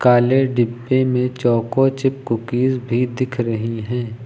काले डिब्बे में चोको चिप कुकीज भी दिख रही है।